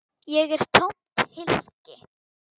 Ég er tómt hylki.